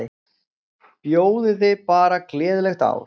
Bjóðiði bara gleðilegt ár.